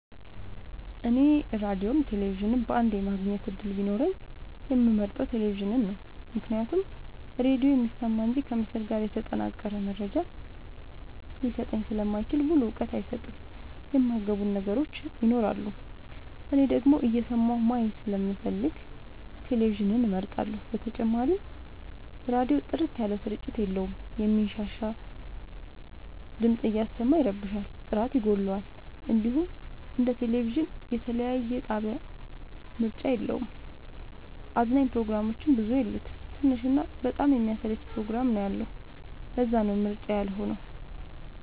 እኔ ራዲዮም ቴሌቪዥንም በአንዴ የማግኘት እድል ቢኖረኝ የምመርጠው። ቴሌቪዥንን ነው ምክንያቱም ራዲዮ የሚሰማ እንጂ ከምስል ጋር የተጠናቀረ መረጃ ሊሰጠኝ ስለማይችል ሙሉ እውቀት አይሰጥም የማይ ገቡን ነገሮች ይኖራሉ። እኔ ደግሞ እየሰማሁ ማየት ስለምፈልግ ቴሌቪዥንን እመርጣለሁ። በተጨማሪም ራዲዮ ጥርት ያለ ስርጭት የለውም የሚንሻሻ ድምፅ እያሰማ ይረብሻል ጥራት ይጎለዋል። እንዲሁም እንደ ቴሌቪዥን የተለያየ የጣቢያ ምርጫ የለውም። አዝናኝ ፕሮግራሞችም ብዙ የሉት ትንሽ እና በጣም የሚያሰለች ፕሮግራም ነው ያለው ለዛነው ምርጫዬ ያልሆ ነው።